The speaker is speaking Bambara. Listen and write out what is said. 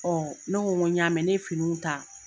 ne ko ŋo ɲ'a mɛ, ne ye finiw ta